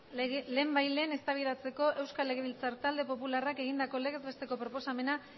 lehenbailehen eztabaidatzeko euskal legebiltzar talde popularrak egindako legez besteko proposamena